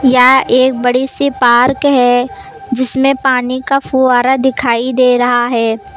यह एक बड़ी सी पार्क है जिसमें पानी का फुहारा दिखाई दे रहा है।